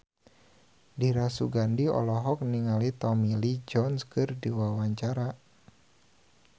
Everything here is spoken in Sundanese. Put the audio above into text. Dira Sugandi olohok ningali Tommy Lee Jones keur diwawancara